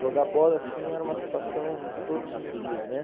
Jogar bola, assim, era uma situação todos os dias, né?